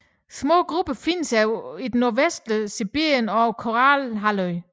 Små grupper findes i det nordvestlige Sibirien og på Kolahalvøen